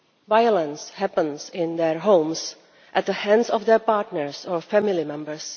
Violence happens in their homes at the hands of their partners or family members.